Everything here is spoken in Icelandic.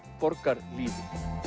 borgarlífi